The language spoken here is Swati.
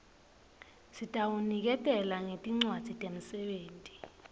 sitawuniketela ngetincwadzi temsebenti